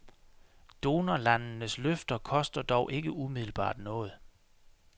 Donorlandenes løfte koster dog ikke umiddelbart noget.